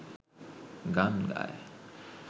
গান গায়